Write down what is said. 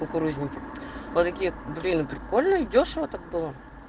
кукурузники вот такие блин прикольно и дёшево так было